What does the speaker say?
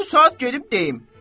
Bu saat gedib deyim.